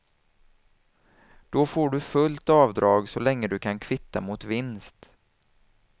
Då får du fullt avdrag så länge du kan kvitta mot vinst.